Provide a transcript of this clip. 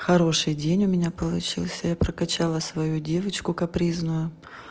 хороший день у меня получился я прокачала свою девочку капризную